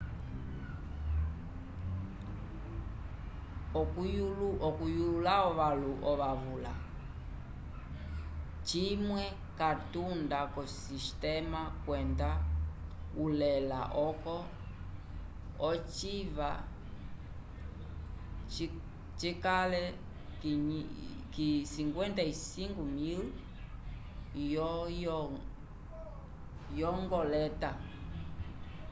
okuyulula ovavula cimwe catunda ko sistema kwenda ulela oco ociva cikale 55.000 yo ngoleta